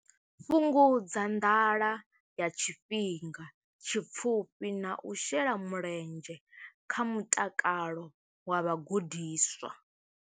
Fhungudza nḓala ya tshifhinga tshipfufhi na u shela mulenzhe kha mutakalo wa vhagudiswa.